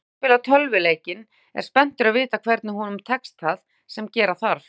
Sá sem spilar tölvuleikinn er spenntur að vita hvort honum tekst það sem gera þarf.